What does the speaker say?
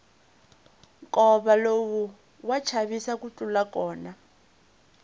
nkova lowu wa chavisa ku tlula kona